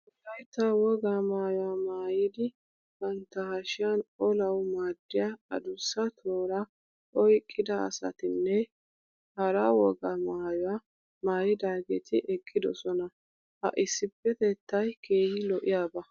Wolaytta wogaa maayuwa maayidi bantta hashiyan olawu maaddiya adussa tooraa oyqqida asatinne hara wogaa maayuwa maayidaageeti eqqidosona. Ha issippetettay keehi lo'iyaba.